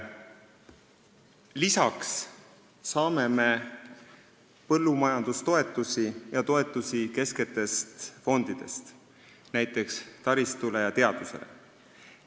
Lisaks saame me põllumajandustoetusi ja toetusi kesksetest fondidest, näiteks taristu ja teaduse jaoks.